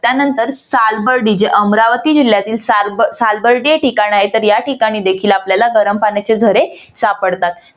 त्यानंतर सालबर्गी जे अमरावती जिल्यातील सालबर्गीय ठिकाण आहेत तर या ठिकाणी देखील आपल्याला गरम पाण्याचे झरे सापडतात